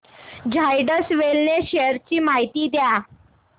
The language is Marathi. झायडस वेलनेस शेअर्स ची माहिती द्या